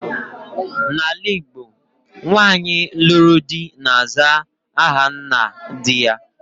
N'ala Igbo, nwaanyị lụrụ di, na-aza ahanna di ya.